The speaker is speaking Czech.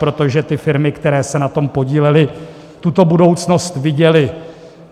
Protože ty firmy, které se na tom podílely, tuto budoucnost viděly.